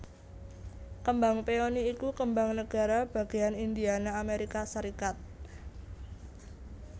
Kembang peony iku kembang negara bagéyan Indiana Amérika Sarékat